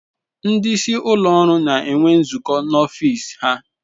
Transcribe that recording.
Ndị isi ụlọ ọrụ na-enwe nzukọ n'ọfịs ha.